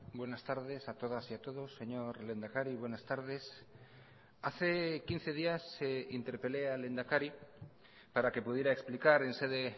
buenas tardes a todas y a todos señor lehendakari buenas tardes hace quince días interpelé al lehendakari para que pudiera explicar en sede